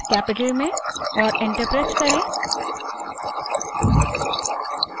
बड़े अक्षर में और enter दबायें